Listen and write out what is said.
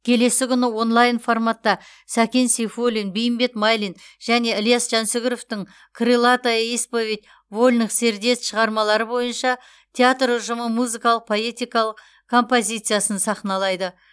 келесі күні онлайн форматта сәкен сейфуллин бейімбет майлин және ілияс жансүгіровтың крылатая исповедь вольных сердец шығармалары бойынша театр ұжымы музыкалық поэтикалық композициясын сахналайды